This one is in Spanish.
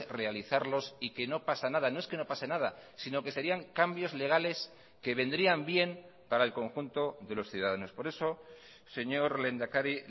realizarlos y que no pasa nada no es que no pase nada sino que serían cambios legales que vendrían bien para el conjunto de los ciudadanos por eso señor lehendakari